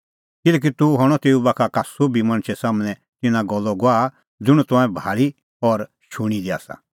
किल्हैकि तूह हणअ तेऊ बाखा का सोभी मणछे सम्हनै तिन्नां गल्लो गवाह ज़ुंण तंऐं भाल़ी और शूणीं दी आसा